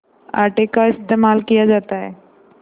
आटे का इस्तेमाल किया जाता है